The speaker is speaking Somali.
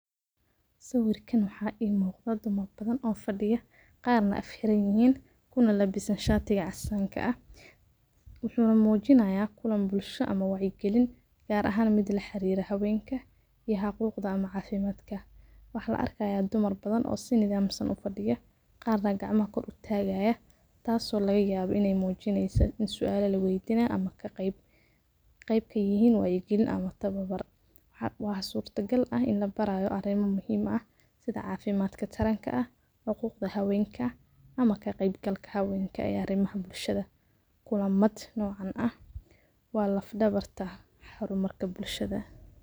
Sawirkan waxa imuqda dad badan oo fadiyan qarna afka xiranyihin kuna labisan shatiga casanka ah wuxuna mujinaya kulan bulsho ama wacyi galin gar ahaan ku laxiriraha hawenka iyo xaquqda ama caafimadkawaxa arka dumar badan oo si nadamsan ufadiyo qarna gacmaha tagayo taso lagayawo iney mujineyso iney sualo laweydinayo ama eey kaqeyb galin ama tawabar waxa suarka gal ah inii labaraya arimo muhiim ah sida cafimadka taranka ah xuquda hawenka ama kaqeyb galka hawenka arimaha bulshada kulamada nocan ah wa laf dabarka halwalaha bulshada.